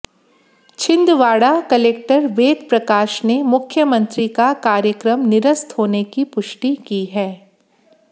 Chhindwara collector Ved Prakash ने मुख्यमंत्री का कार्यक्रम निरस्त होने की पुष्टि की है